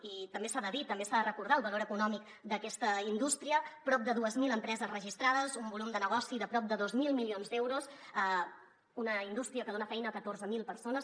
i també s’ha de dir també s’ha de recordar el valor econòmic d’aquesta indústria prop de dues mil empreses registra·des un volum de negoci de prop de dos mil milions d’euros una indústria que dona feina a catorze mil persones